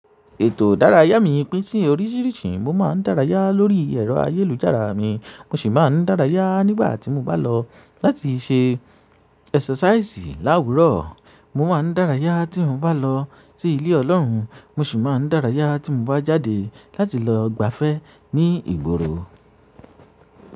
Ètò ìdárayá mi pín sí oríṣìíríṣìí mo maan dárayá lórí ẹ̀rọ ayélujára mi mo sì máa ń dárayá nígbà tí mo bá lọ láti ṣe esasaisi láwùrọ̀. Mo máa ń dárayá tí mo bá lọ sí ilé Ọlọ́run, mo sì máa ń dárayá tí mo bá jáde láti lọ gbafẹ́ ní ìgboro.